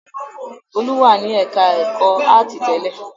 Folú wà ní ẹ̀ka-ẹ̀kọ́ áátì tẹ́lẹ̀?